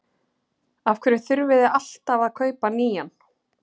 Af hverju þurfið þið alltaf að kaupa nýjan?